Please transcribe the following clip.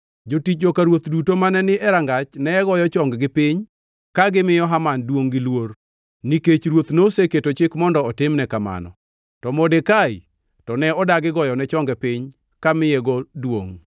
Jotich joka ruoth duto mane ni e rangach ne goyo chonggi piny ka gimiyo Haman duongʼ gi luor, nikech ruoth noseketo chik mondo otimne kamano. To Modekai to ne odagi goyone chonge piny kamiyego duongʼ.